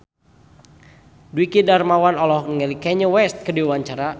Dwiki Darmawan olohok ningali Kanye West keur diwawancara